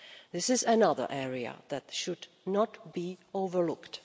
This is another area that should not be overlooked.